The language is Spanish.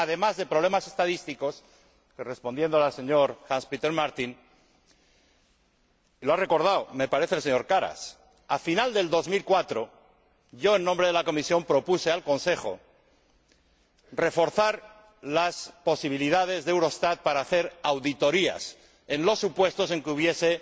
Además, en relación con los problemas estadísticos y respondiendo al señor Martin —lo ha recordado, me parece, el señor Karas—, al final de 2004, yo, en nombre de la Comisión, propuse al Consejo reforzar las posibilidades de Eurostat para hacer auditorías en los supuestos en que hubiese